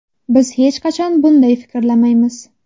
Biz hech qachon bunday fikrlamaymiz.